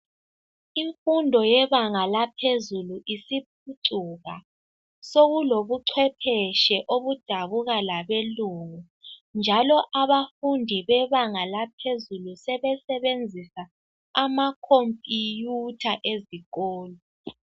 Imfundo yebanga laphezulu isiphucuka, sokulobuchwephetshe obudabuka labelungu njalo abafundi bebanga laphezulu sebesebenzisa amakhompiyutha ezikolo.